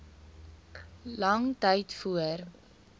lang tyd voor